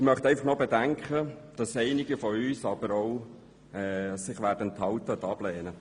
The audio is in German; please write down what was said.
Ich möchte aber bekannt geben, dass einige von uns sich enthalten oder ablehnen.